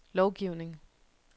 lovgivning